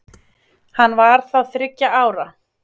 Hann var þá þriggja ára